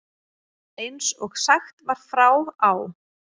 Eins og sagt var frá á